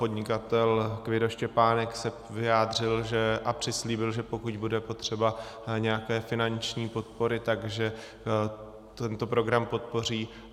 Podnikatel Kvido Štěpánek se vyjádřil a přislíbil, že pokud bude potřeba nějaké finanční podpory, takže tento program podpoří.